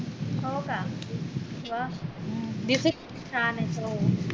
हो का म छान ये